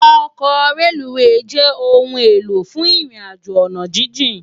Òkò rélúwé jè óoún éló fún irin àjó àná jijin